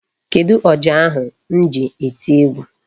Kedụ ọjà ahu m ji eti egwu?